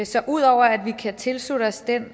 så ud over at vi kan tilslutte os den